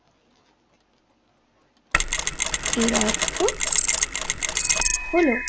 এর অর্থ হলো